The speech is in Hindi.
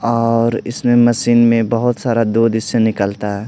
और इसमें मशीन में बहुत सारा दूध इससे निकलता है।